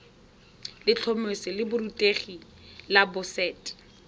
letlhomeso la borutegi la boset